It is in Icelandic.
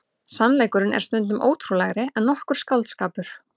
Sannleikurinn er stundum ótrúlegri en nokkur skáldskapur.